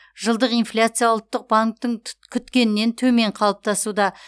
жылдық инфляция ұлттық банктің күткенінен төмен қалыптасуда